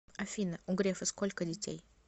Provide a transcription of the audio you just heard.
афина у грефа сколько детей